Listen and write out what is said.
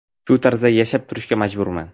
Shu tarzda yashab turishga majburman.